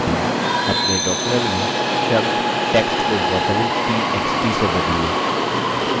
अपने document में शब्द text को वर्तनी t x t से बदलिए